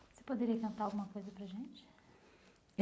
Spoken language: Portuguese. Você poderia cantar alguma coisa para a gente?